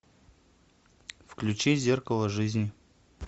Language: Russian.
включи зеркало жизни